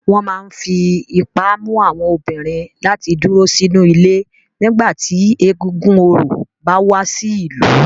Wọn máa ń fi ipá mú àwọn obìnrin láti dúró sínú ilé nígbà tí egúngún orò bá wá sí ìlú.